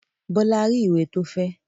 Bọ́lá rí ìwé tó fẹ́?